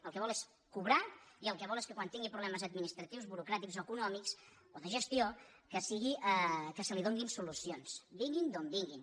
el que vol és cobrar i el que vol és que quan tingui problemes administratius burocrà·tics o econòmics o de gestió que li donin solucions vinguin d’on vinguin